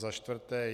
Za čtvrté?